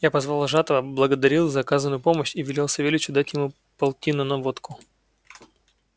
я позвал вожатого благодарил за оказанную помочь и велел савельичу дать ему полтину на водку